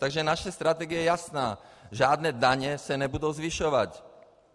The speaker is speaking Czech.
Takže naše strategie je jasná - žádné daně se nebudou zvyšovat.